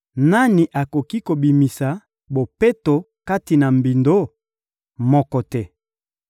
Nani akoki kobimisa bopeto kati na mbindo? Moko te!